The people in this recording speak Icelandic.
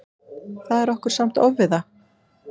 Það er okkur samt ofviða.